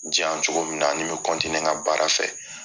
U diyan cogo min na, a nin bɛ n ka baara fɛ